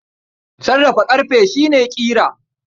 Sarrafa ƙarfe shi ne ƙira.